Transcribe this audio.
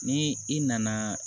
Ni i nana